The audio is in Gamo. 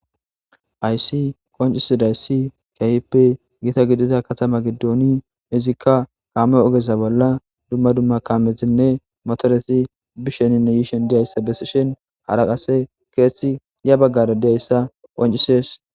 Aysi qoncisidayssi kahipe gita gidida katama giddooni izikka kaame ogesa bolla dumma dumma kaamezinne motoresi bisheninne yiishen diyayssa besishen hara qase keethethi ya baggara diayssa qoncises.